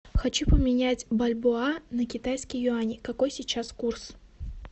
хочу поменять бальбоа на китайские юани какой сейчас курс